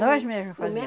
Nós mesmos fazíamos.